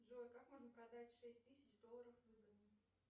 джой как можно продать шесть тысяч долларов выгодно